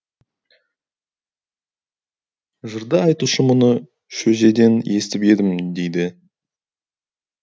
жырды айтушы мұны шөжеден естіп едім дейді